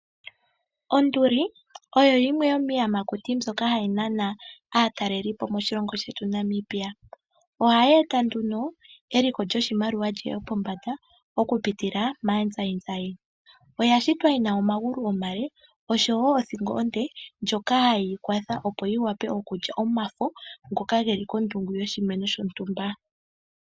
Onduli oyo yimwe yomiiyamakuti mbyoka hayi nana aatalelipo moshilongo shetu Namibia. Ohayi eta nduno eliko lyoshimaliwa li ye pombanda okupitila maazayizayi. Oya shitwa yi na omagulu omale osho wo othingo onde ndjoka hayi kwatha opo yi wape lye omafo ge li kondungu yoshimeno shontumba.